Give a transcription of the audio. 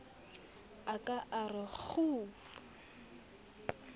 a ka a re khuu